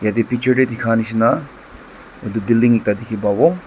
yate picture teh dikha nisna etu building ekta dikhi pabo.